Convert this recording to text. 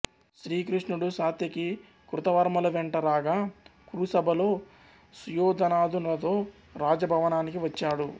శ్రీకృష్ణుడు సాత్యకి కృతవర్మలు వెంట రాగా కురు సభలో సుయోధనాదులతో రాజ భవనానికి వచ్చాడు